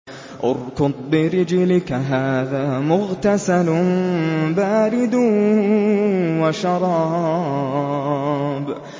ارْكُضْ بِرِجْلِكَ ۖ هَٰذَا مُغْتَسَلٌ بَارِدٌ وَشَرَابٌ